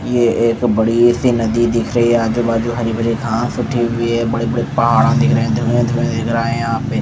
ये एक बड़ी सी नदी दिख रही है आजू बाजू हरी भरी घास उठी हुई है बड़े बड़े पहाड़ दिख रहे है यहाँ पे धूआं-धूआं दिख रहा है यहाँ पे --